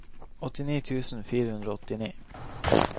åttini tusen fire hundre og åttini